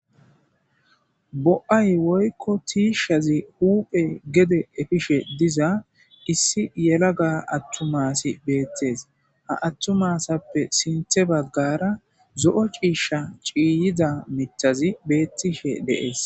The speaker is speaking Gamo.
bo7ay woykko tiishshazi huuphe gede efishe diza issi yelaga attumasi beettees ha attumasappe sinthe baggara zo7o ciisha ciiyida mitazi beettishe deees